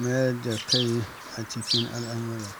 mayar da kai a cikin al'amura.